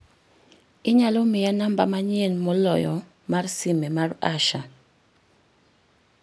inyalo miya namba manyien moloyo mar sime mar Asha